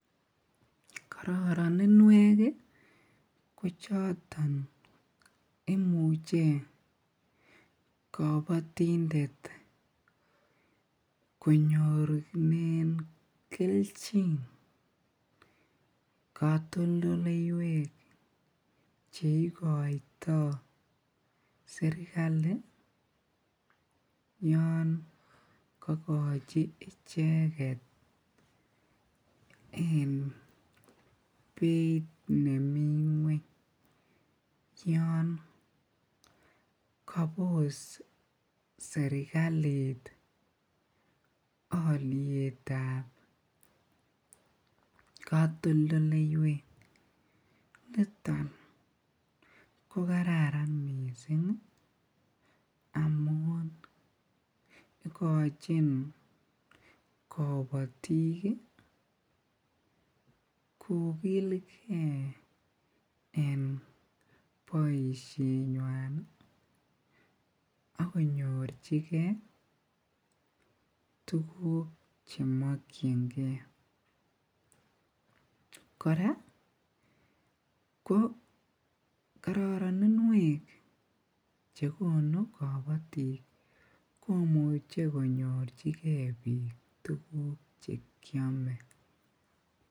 Kororoninwek ko choton imuche kobotindet konyorunen kelchin kotoldoleiwek cheikoito serikali yoon kokochi icheket en beit nemii ngweny, yon kobos serikalit olietab kotoldoleiwek, niton ko kararan mising amun ikochin kobotik kokilke en boishenywan ak konyorchike tukuk chemokyinge, ko kora kororoninwek chekonuu kobotik komuche konyorchike biik tukuk chekiome.